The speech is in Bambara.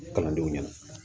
Kalandenw ɲɛna